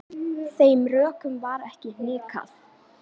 Þeim rökum varð ekki hnikað.